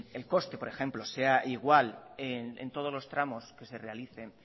el coste por ejemplo sea igual en todos los tramos que se realicen